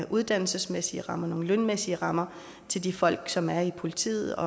uddannelsesmæssige rammer nogle lønmæssige rammer til de folk som er i politiet og